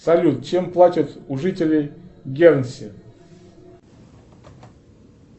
салют чем платят у жителей генсе